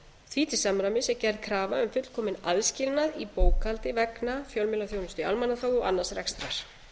því til samræmis er gerð krafa um fullkominn aðskilnað í bókhaldi vegna fjölmiðlaþjónustu í almannaþágu og annars rekstrar